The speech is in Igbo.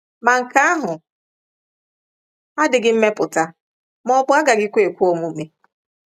Ma nke ahụ adịghị mmepụta ma ọ bụ agaghịkwa ekwe omume.